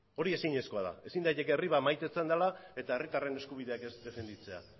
hori ezinezkoa da ezin daiteke herri bat maitatzen dela esan eta herritarren eskubideak ez defenditzea